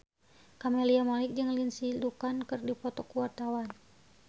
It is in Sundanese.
Camelia Malik jeung Lindsay Ducan keur dipoto ku wartawan